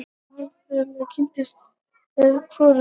Málfræðilega kynið er því hvorugkyn.